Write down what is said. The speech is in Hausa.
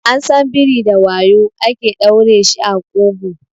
An san biri da wayu ake ɗaure shi a ƙugu